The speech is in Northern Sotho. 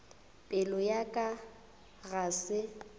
pelo ya ka ga se